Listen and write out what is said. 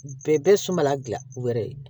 Bɛɛ bɛ sunbala gilan u yɛrɛ ye